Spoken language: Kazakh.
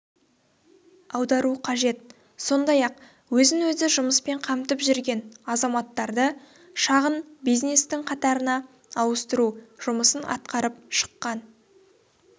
аудару қажет сондай-ақ өзін-өзі жұмыспен қамтып жүрген азаматтарды шағын бизнестің қатарына ауыстыру жұмысын атқарып шыққан